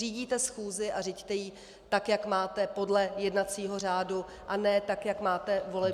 Řídíte schůzi a řiďte ji tak, jak máte, podle jednacího řádu, a ne tak, jak máte politické preference!